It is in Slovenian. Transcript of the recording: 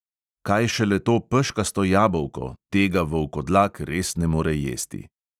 Kaj šele to peškasto jabolko, tega volkodlak res ne more jesti.